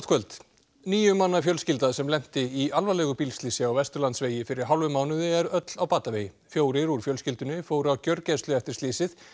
kvöld níu manna fjölskylda sem lenti í alvarlegu í bílslysi á Vesturlandsvegi fyrir hálfum mánuði er öll á batavegi fjórir úr fjölskyldunni fóru á gjörgæslu eftir slysið